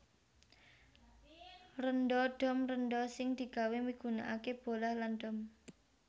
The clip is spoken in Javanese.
Rénda dom rénda sing digawé migunakaké bolah lan dom